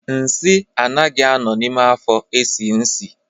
Nsị anaghị a nọ n'ime afo esie nsị